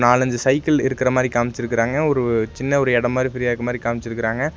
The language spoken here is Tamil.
நாலஞ்சு சைக்கிள் இருக்கர மாரி காம்ச்ருக்காங்க ஒரு சின்ன ஒரு எடோ மாரி ஃப்ரீயா இருக்கர மாரி காம்ச்ருக்காங்க.